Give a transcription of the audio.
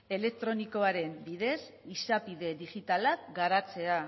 elektronikoaren bidez izapide digitala garatzea